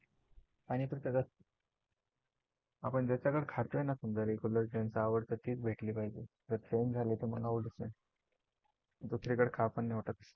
आपण ज्यांच्याकडे खातो आहे ना समजा regular ज्यांचा आवडता तीच भेटली पाहिजे जर change झालं तर आवडत नाही.